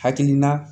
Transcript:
Hakilina